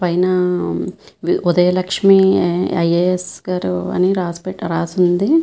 పైన Udaya Lakshmi I _A _S గారు అని రాసి పెట్టారు రాసి ఉంది.